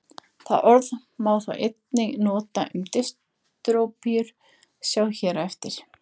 Það orð má þó einnig nota um dystópíur, sjá hér á eftir.